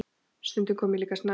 Stundum kom ég líka snemma.